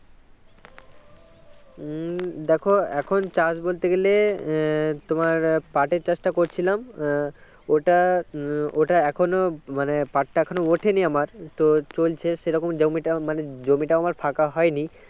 উম দেখো এখন চাষ বলতে গেলে তোমার পাটের চাষটা করছিলাম ওটা উম ওটা এখনো মানে পাট টা এখনও ওঠেনি আমার তো চলছে সে রকম জমিটা মানে জমিটা আমার ফাঁকা হয়নি